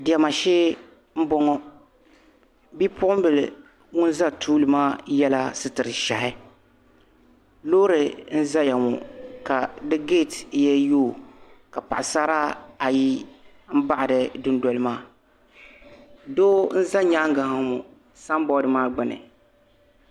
Diɛma shee m-bɔŋɔ bipuɣin' bila ŋun za tuuli maa yela sitir' ʒɛhi loori n-zaya ŋɔ ka di geeti yee yooi ka paɣ'sara ayi m-baɣi di dundoli maa doo n-za nyaaga ha ŋɔ samboodi maa gbuni.